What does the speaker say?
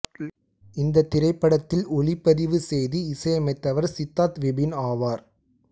இந்த திரைப்படத்தில் ஒலிப்பதிவு செய்து இசையமைத்தவர் சித்தார்த் விபின் ஆவார்